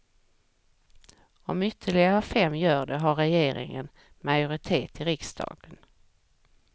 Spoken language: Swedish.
Om ytterligare fem gör det har regeringen majoritet i riksdagen.